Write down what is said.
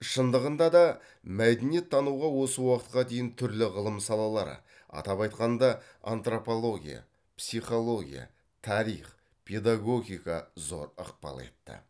шындығында да мәдениеттануға осы уақытқа дейін түрлі ғылым салалары атап айтқанда антропология психология тарих педагогика зор ықпал етті